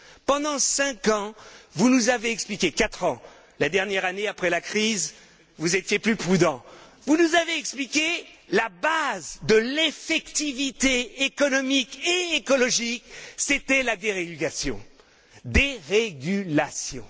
Pendant cinq ans, vous nous avez expliqué quatre ans la dernière année après la crise, vous étiez plus prudent vous nous avez expliqué que la base de l'effectivité économique et écologique, c'était la dérégulation dérégulation.